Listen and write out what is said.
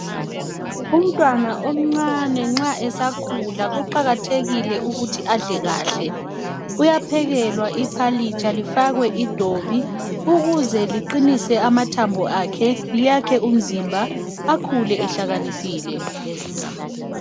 Umntwana omncane nxa esakhula kuqakathekile ukuthi adle kahle .Uyaphekelwa iphalitsha lifakwe idobi ukuze liqinise amathambo akhe liyakhe umzimba, akhule ehlakaniphile .